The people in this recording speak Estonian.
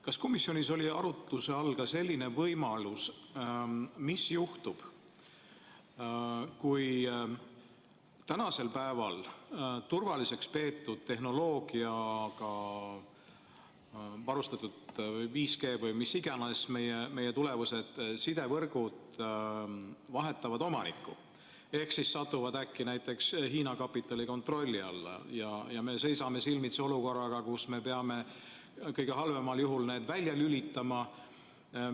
Kas komisjonis oli arutluse all ka selline võimalus, mis juhtub siis, kui tänapäeval turvaliseks peetud tehnoloogiaga, 5G või mis iganes, varustatud tulevased sidevõrgud vahetavad meil omanikku ehk satuvad äkki näiteks Hiina kapitali kontrolli alla ja me seisame silmitsi olukorraga, kus me kõige halvemal juhul peame need välja lülitama?